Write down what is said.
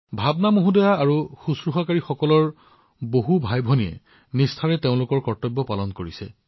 ভাৱনা জী আৰু নাৰ্চিং ষ্টাফৰ দৰে হাজাৰলক্ষাধিক ভাইভনীয়ে তেওঁলোকৰ কৰ্তব্য ভালদৰে কৰি আছে